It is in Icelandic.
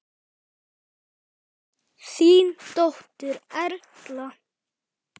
Þín dóttir Erla.